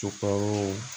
Co kaw